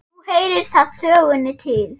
Nú heyrir það sögunni til.